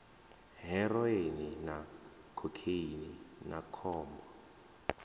heroine na khokheini na khombo